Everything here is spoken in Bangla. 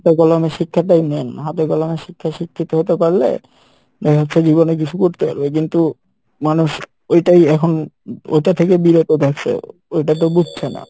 হাতে কলমে শিক্ষাটাই main, হাতে কলমে শিক্ষাই শিক্ষিত হতে পারলে দেখা যাচ্ছে জীবনে কিছু করতে পারবে কিন্তু মানুষ ওইটাই এখন ওইটা থেকে বিরত থাকছে ওইটা তো বুঝছে না।